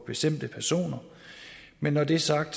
bestemte personer men når det er sagt